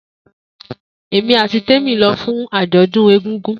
Emi ati Temi lọ fun ajọdun egungun.